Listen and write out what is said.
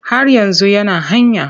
Har yanzu yana hanya.